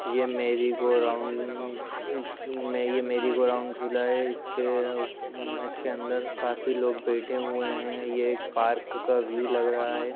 यह merry go round यह merry go round झूला है इसके अंदर काफी लोग बैठे हुए है ये एक पार्क का व्यू लग रहा है।